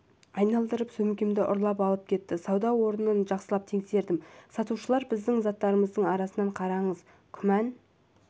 айналдырып сөмкемді ұрлап алып кетті сауда орнын жақсылап тексердім сатушылар біздің заттарымыздың арасын қараңыз күмән